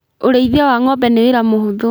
Ũrĩithia wa ng'ombe ni wĩra mũhũthũ